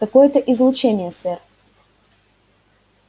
какое-то излучение сэр